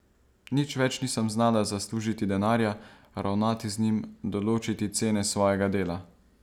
Nič več nisem znala zaslužiti denarja, ravnati z njim, določiti cene svojega dela ...